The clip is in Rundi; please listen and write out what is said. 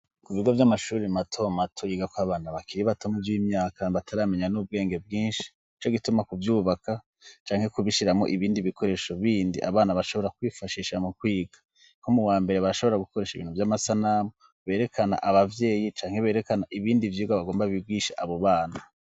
Ku bigo vy'amashuri matomu atuyiga ko abantu bakiri batoma vy'imyaka bataramenya n'ubwenge bwinshi ico gituma kuvyubaka canke kubishiramo ibindi bikoresho bindi abana bashobora kwifashisha mu kwiga ko mu wa mbere bashobora gukoresha ibintu vy'amasanamu berekana abavyeyi canke berekana ibindi vyirwa bagomba bibwisha abubana.